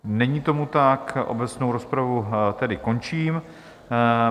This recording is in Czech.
Není tomu tak, obecnou rozpravu tedy končím.